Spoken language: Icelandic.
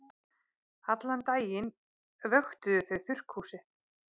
Allan daginn vöktuðu þau þurrkhúsið.